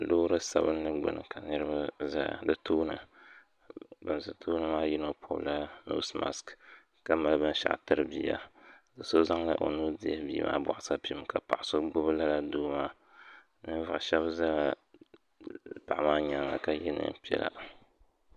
Loori sabinli gbuni ka niriba zaya di tooni ban ʒe tooni maa puuni yino pɔbila noosi maasiki ka mali binshɛɣu tiri bia so zaŋla o nuu n-dihi bia maa bɔɣisapim ka paɣa so gbubi lala doo maa ninvuɣ' shɛba zala paɣa maa nyaaŋa ka ye neen' piɛla